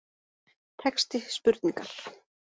Texti spurningar